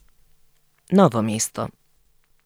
Novo mesto.